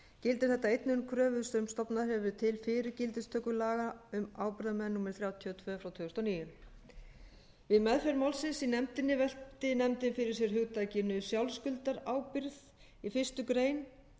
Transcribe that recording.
gildir þetta einnig um kröfur sem stofnað hefur verið til fyrir gildistöku laga um ábyrgðarmenn númer þrjátíu og tvö tvö þúsund og níu við meðferð málsins í nefndinni velti nefndin fyrir sér hugtakinu sjálfskuldarábyrgð í fyrstu grein